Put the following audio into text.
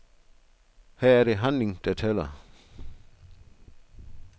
Her er det handling der tæller.